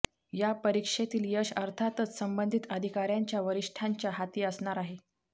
या परीक्षेतील यश अर्थातच संबंधित अधिकार्यांच्या वरिष्ठांच्या हाती असणार आहे